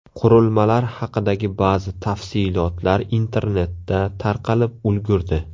Qurilmalar haqidagi ba’zi tafsilotlar internetda tarqalib ulgurdi.